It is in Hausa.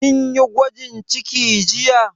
Kin yi gwajin ciki jiya?